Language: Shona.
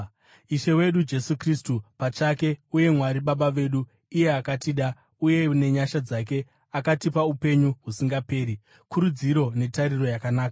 Ishe wedu Jesu Kristu pachake uye Mwari Baba vedu, iye akatida uye nenyasha dzake akatipa upenyu husingaperi, kurudziro netariro yakanaka,